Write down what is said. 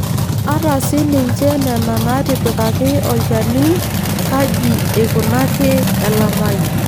Ata sii ninche Nena naatipikaki olchani kaji eikunaki elamai.